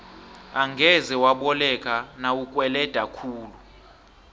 angeze waboleka nawukweleda khulu